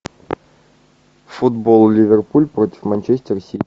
футбол ливерпуль против манчестер сити